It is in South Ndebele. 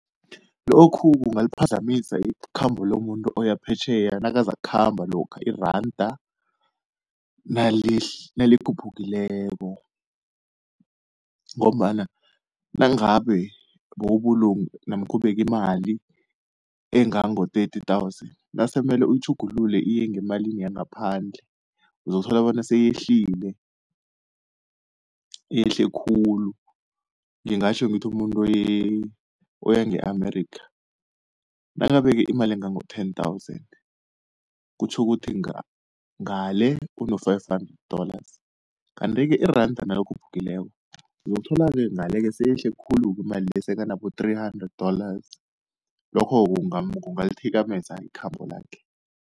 Lokhu kungaliphazamisa ikhambo lomuntu oya phetjheya nakazakukhamba lokha iranda nalikhuphukileko, ngombana nangabe bowubulunge namkha ubeke imali engango-thirty thousand nasemele uyitjhugulule iye ngemalini yangaphandle uzokuthola bona seyehlile, yehle khulu ngingatjho ngithi umuntu oya nge-Amerika, nakabeke imali engango-ten thousand kutjho ukuthi ngale uno-five hundred dollars. Kanti-ke iranda nalikhuphukileko uzokuthola-ke ngale-ke seyehle khulu-ke imali le sekanabo three hundred dollars, lokho kungalithikameza ikhambo lakhe.